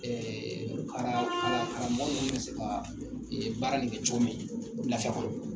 Ɛɛ kara kara karamɔgɔ min bɛ se ka baara in kɛ cogo min na lafiya kɔnɔ !